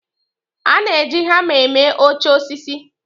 A na-eji hama eme oche osisi.